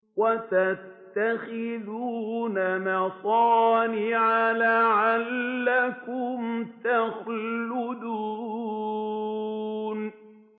وَتَتَّخِذُونَ مَصَانِعَ لَعَلَّكُمْ تَخْلُدُونَ